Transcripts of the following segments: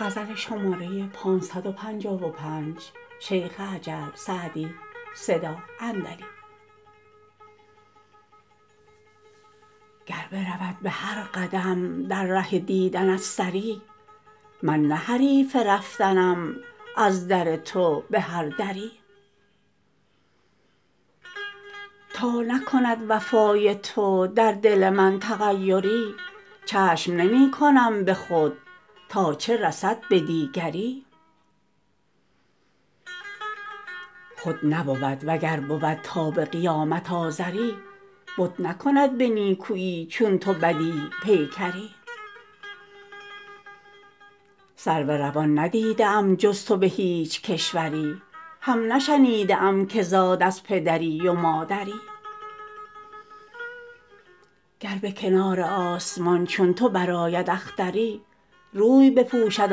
گر برود به هر قدم در ره دیدنت سری من نه حریف رفتنم از در تو به هر دری تا نکند وفای تو در دل من تغیری چشم نمی کنم به خود تا چه رسد به دیگری خود نبود و گر بود تا به قیامت آزری بت نکند به نیکویی چون تو بدیع پیکری سرو روان ندیده ام جز تو به هیچ کشوری هم نشنیده ام که زاد از پدری و مادری گر به کنار آسمان چون تو برآید اختری روی بپوشد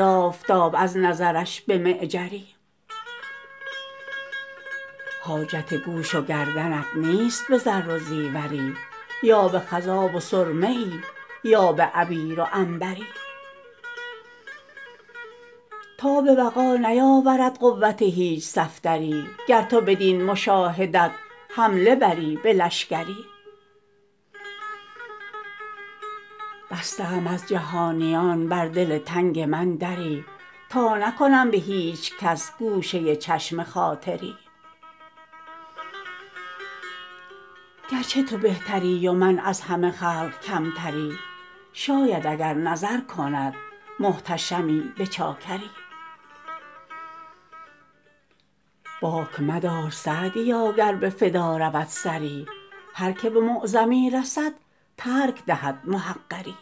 آفتاب از نظرش به معجری حاجت گوش و گردنت نیست به زر و زیوری یا به خضاب و سرمه ای یا به عبیر و عنبری تاب وغا نیاورد قوت هیچ صفدری گر تو بدین مشاهدت حمله بری به لشکری بسته ام از جهانیان بر دل تنگ من دری تا نکنم به هیچ کس گوشه چشم خاطری گرچه تو بهتری و من از همه خلق کمتری شاید اگر نظر کند محتشمی به چاکری باک مدار سعدیا گر به فدا رود سری هر که به معظمی رسد ترک دهد محقری